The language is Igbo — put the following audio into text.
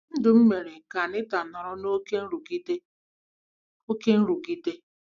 Ndụ m mere ka Anita nọrọ n'oké nrụgide. n'oké nrụgide.